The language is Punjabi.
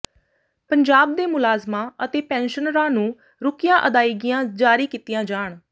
ਪੰਜਾਬ ਦੇ ਮੁਲਾਜ਼ਮਾਂ ਅਤੇ ਪੈੱਨਸ਼ਨਰਾਂ ਨੂੰ ਰੁਕੀਆਂ ਅਦਾਇਗੀਆਂ ਜਾਰੀ ਕੀਤੀਆਂ ਜਾਣ